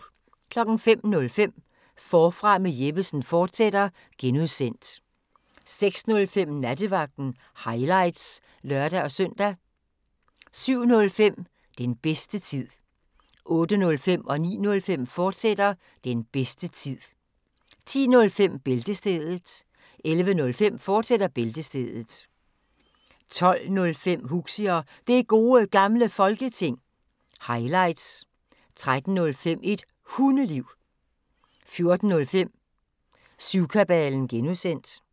05:05: Forfra med Jeppesen fortsat (G) 06:05: Nattevagten – highlights (lør-søn) 07:05: Den bedste tid 08:05: Den bedste tid, fortsat 09:05: Den bedste tid, fortsat 10:05: Bæltestedet 11:05: Bæltestedet, fortsat 12:05: Huxi og Det Gode Gamle Folketing – highlights 13:05: Et Hundeliv 14:05: Syvkabalen (G)